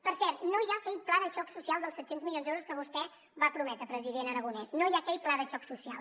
per cert no hi ha aquell pla de xoc social dels set cents milions d’euros que vostè va prometre president aragonès no hi ha aquell pla de xoc social